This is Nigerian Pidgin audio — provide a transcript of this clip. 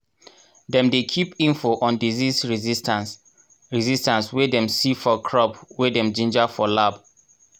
dem dey keep info on disease resistance resistance wey dem see for crops wey dem ginger for lab.